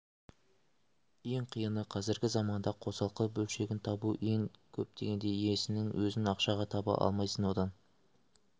ең қиыны қазіргі заманда қосалқы бөлшегін табу ең көп деген инесінің өзін ақшаға таба алмайсың одан